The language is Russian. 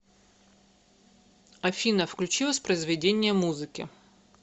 афина включи воспроизведение музыки